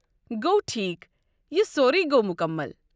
گوٚو ٹھیٖک، یہِ سورُے گوٚو مُکمل۔